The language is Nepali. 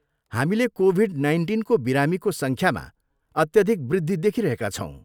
हामीले कोभिड नाइन्टिनको बिरामीको सङ्ख्यामा अत्यधिक वृद्धि देखिरहेका छौँ।